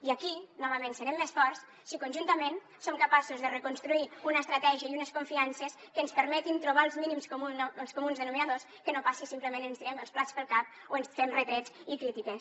i aquí novament serem més forts si conjuntament som capaços de reconstruir una estratègia i unes confiances que ens permetin trobar els mínims comuns denominadors que no passi simplement que ens tirem els plats pel cap o ens fem retrets i crítiques